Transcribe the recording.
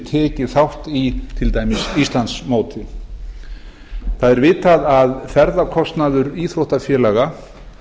tekið þátt í til dæmis íslandsmóti vitað er að ferðakostnaður íþróttafélaga